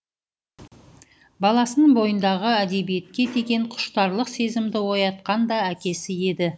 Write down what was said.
баласының бойындағы әдебиетке деген құштарлық сезімді оятқан да әкесі еді